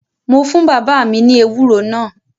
Mo fún bàbá mi ní ewúro náà